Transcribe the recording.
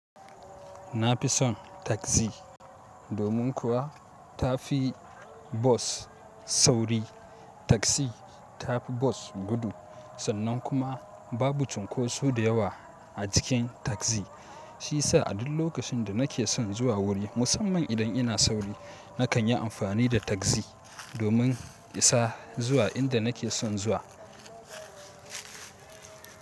Na fi son tagzi domin kuwa ta fi bos sauri. Tagzi ta fi bos gudu sannan kuma babu cunkoso da yawa a jikin tagzi. Shi sa a duk lokacin da na ke son zuwa wuri, musamman idan ina sauri, na kan yi amfani da tagzi domin isa zuwa inda na ke son zuwa.